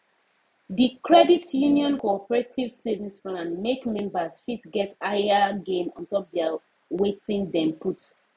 d credit union cooperative savings plan make members fit get higher gain on top their wetin dem put